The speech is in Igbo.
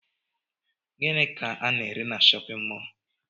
Gịnị ka ana ere n'shóppin mol?